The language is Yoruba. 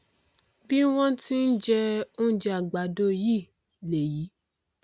bí wọn ti n jẹ oúnjẹ àgbàdo yìí lèyìí